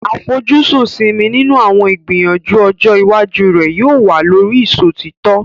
Àfojúsùn Simi nínú àwọn ìgbìyànjú ọjọ́ iwájú rẹ̀ yóò wà lórí ìṣòtítọ́.